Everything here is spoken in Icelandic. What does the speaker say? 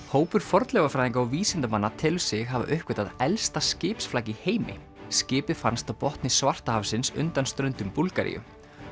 hópur fornleifafræðinga og vísindamanna telur sig hafa uppgötvað elsta skipsflak í heimi skipið fannst á botni undan ströndum Búlgaríu